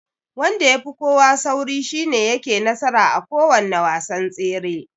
Wanda yafi kowa sauri shine yake nasara a kowanne wasan tsere.